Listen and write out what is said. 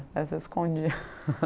só escondia